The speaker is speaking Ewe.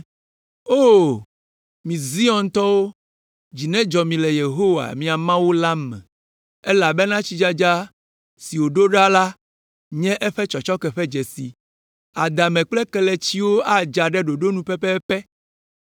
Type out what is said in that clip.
O, mi Ziontɔwo, dzi nedzɔ mi le Yehowa, miaƒe Mawu la me! Elabena tsidzadza si wòɖo ɖa la nye eƒe tsɔtsɔke ƒe dzesi. Adame kple kelemetsiwo adza ɖe ɖoɖo nu pɛpɛpɛ.